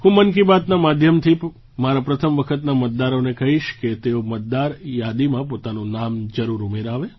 હું મન કી બાતના માધ્યમથી મારા પ્રથમ વખતના મતદારોને કહીશ કે તેઓ મતદાર યાદીમાં પોતાનું નામ જરૂર ઉમેરાવે